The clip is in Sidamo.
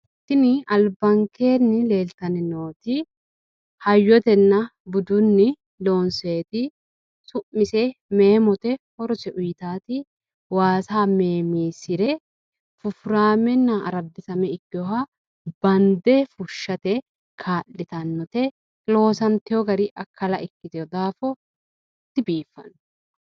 Tini albaankenni leelittanni nooti hayyoteni loonsonniti me'mote horose waasa bande biifise fushateti loosantino gari akkala ikkitino daafira dibifano.